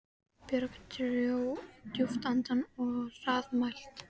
Björg dró djúpt andann og var hraðmælt